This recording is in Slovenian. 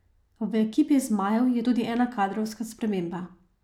V ekipi zmajev je tudi ena kadrovska sprememba.